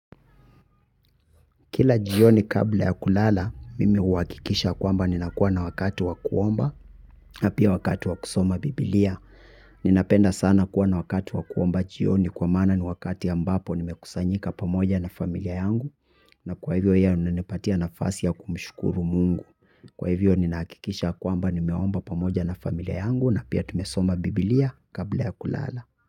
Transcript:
Kila jioni kabla ya kulala, mimi huhakikisha kwamba ninakuwa na wakati wa kuomba, na pia wakati wa kusoma bibilia. Ninapenda sana kuwa na wakati wa kuomba jioni kwa maana ni wakati ambapo nimekusanyika pamoja na familia yangu. Na kwa hivyo hiyo inanipatia nafasi ya kumshukuru Mungu. Kwa hivyo ninahakikisha kwamba nimeomba pamoja na familia yangu na pia tumesoma bibilia kabla ya kulala.